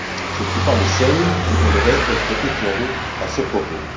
Je ne suis pas le seul qui aimerait être éclairé à ce propos.